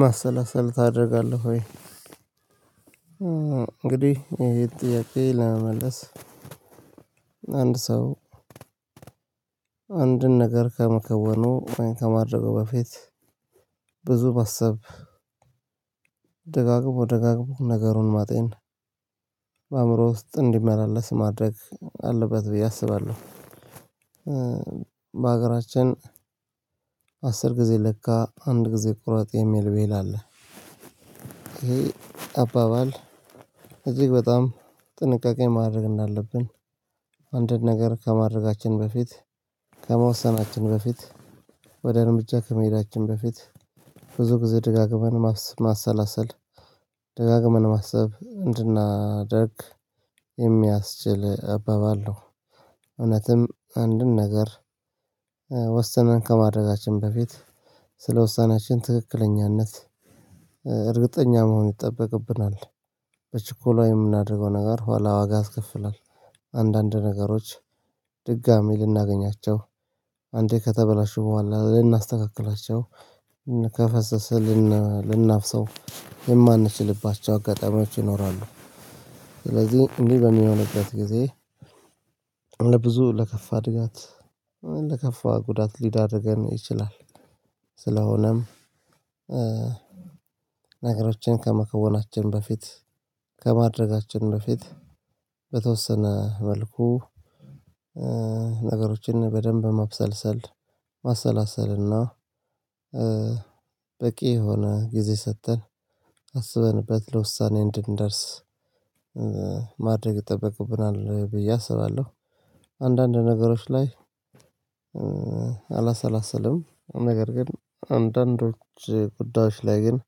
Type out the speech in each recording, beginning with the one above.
ማሰላሰል ታደርጋለህ ወይ? እንግዲህ ይሄ ጥያቄ ለመመለስ አንድ ሰው አንድን ነገር ከመከወኑ ከማድረጉ በፊት ብዙ ማሰብ ደጋግሞ ደጋግሞ ነገሩን ማጤን በአእምሮ ውስጥ እንዲመላለስ ማድረግ አለበት ብዬ አስባለሁ። በሀገራችን አስር ጊዜ ለካ አንድ ጊዜ ቁረጠጥ የሚል ብሒል አለ። ይሄ አባባል እጅግ በጣም ጥንቃቄ ማድረግ እንዳለብን አንድን ነገር ከማድረጋችን በፊት ከመወሰናችን በፊት ወደ እርምጃ ከመሄዳችን በፊት ብዙ ጊዜ ደጋግመን ማሰላሰል ደጋግመን ማሰብ እንድናደርግ የሚያስችል አባባል ነው። እውነትም አንድን ነገር ወሰነን ከማድረጋችን በፊት ስለ ውሳኔያችን ትክክለኛነት እርግጠኛ መሆን ይጠበቅብናል። በችኮላ የምናደርገው ነገር ኋላ ዋጋ ያስከፍላል። አንዳንድ ነገሮች ድጋሚ ልናገኛቸው አንዴ ከተበላሹ በኋላ ልናስተካክላቸው ከፈሰሰ ልናፍሰው የማንችልባቸው አጋጣሚዎች ይኖራሉ። ስለዚህ እንዲህ በሚሆንበት ጊዜ እንደ ብዙ ለከፋ እድጋት ለከፋ ጉዳት ሊዳርገነ ይችላል። ስለሆነም ነገሮችን ከመከወናችን በፊት ከማድረጋችን በፊት በተወሰነ መልኩ ነገሮችን በደንብ ማብሰልሰል ማሰላሰል እና በቂ የሆነ ጊዜ ሰጠን አስበንበት ለውሳኔ እንድንደርስ ማድረግ ይጠበቅብናል ብዬ አስባለሁ። አንዳንድ ነገሮች ላይ አላሰላሰልም ነገር ግን አንዳንዶች ጉዳዮች ላይ ግን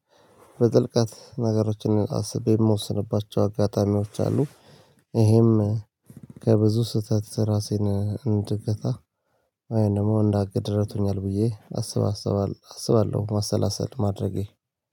በጥልቀት ነገሮችን አስቤ ምወስንባቸው አጋጣሚዎች አሉ። ይህም ከብዙ ስህተት ራሴን እንድገታ ወይም ደግሞ እንዳቅድ እረድቶኛል ብዬ አስባስባለሁ ማሰላሰል ማድረጌ።